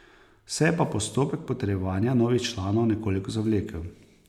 Se je pa postopek potrjevanja novih članov nekoliko zavlekel.